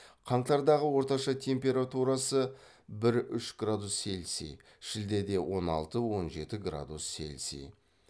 қаңтардағы орташа температурасы бір үш градус цельсий шілдеде он алты он жеті градус цельсий